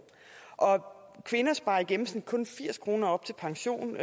kvinder sparer i gennemsnit kun firs kroner op til pension